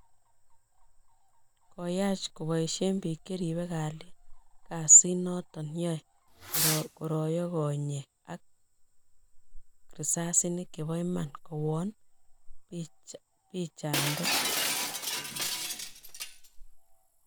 Koyaach kobaisien piik cheribe kalyet kasit noton yae koroyo konyek ak risasinik chebo iman kowon pichandet